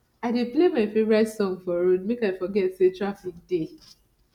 i dey play my favourite song for road make i forget sey traffic dey